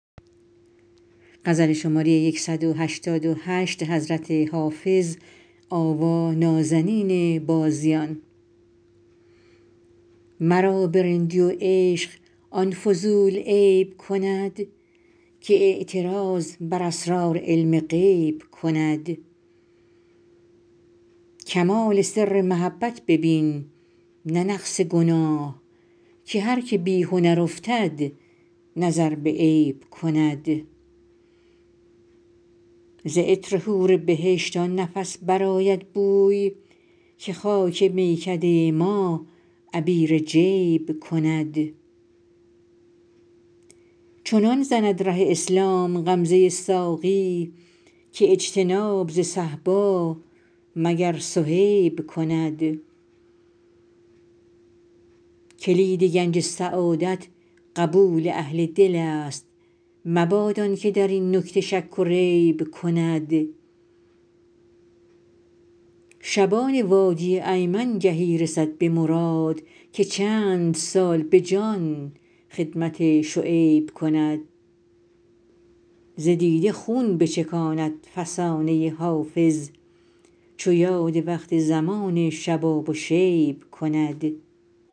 مرا به رندی و عشق آن فضول عیب کند که اعتراض بر اسرار علم غیب کند کمال سر محبت ببین نه نقص گناه که هر که بی هنر افتد نظر به عیب کند ز عطر حور بهشت آن نفس برآید بوی که خاک میکده ما عبیر جیب کند چنان زند ره اسلام غمزه ساقی که اجتناب ز صهبا مگر صهیب کند کلید گنج سعادت قبول اهل دل است مباد آن که در این نکته شک و ریب کند شبان وادی ایمن گهی رسد به مراد که چند سال به جان خدمت شعیب کند ز دیده خون بچکاند فسانه حافظ چو یاد وقت زمان شباب و شیب کند